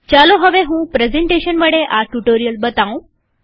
ચાલો હવે હું પ્રેઝન્ટેશન વડે આ ટ્યુ્ટોરીઅલ બતાઉં